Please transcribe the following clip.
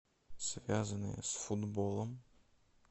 связанные с футболом